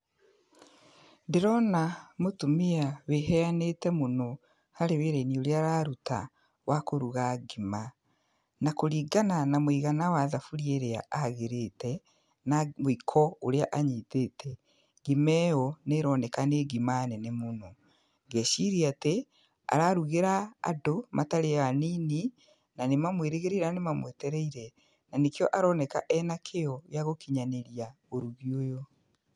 Ndĩrona mũtumia wĩ heanĩte mũno harĩ wĩra-inĩ ũrĩa araruta wa kũruga ngima. Na kũringana na mũigana wa thaburia ĩrĩa ahagĩrĩte, na mũiko ũrĩa anyitĩte, ngima ĩyo nĩ ĩroneka nĩ ngima nene mũno. Ngeciria atĩ ararugĩra andũ matarĩ anini, na nĩ mamwĩrĩgĩrĩire na nĩ mamwetereire, na nĩkĩo aroneka ena kĩo gĩa gũkinyanĩria ũrugi ũyũ.